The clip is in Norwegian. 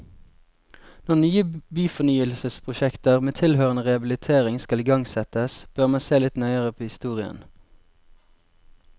Når nye byfornyelsesprosjekter med tilhørende rehabilitering skal igangsettes, bør man se litt nøyere på historien.